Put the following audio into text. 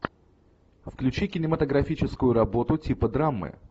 включи кинематографическую работу типа драмы